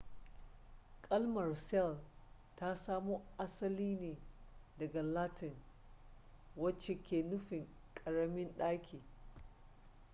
kalmar cell ta samo asali ne daga latin wacce ke nufin karamin daki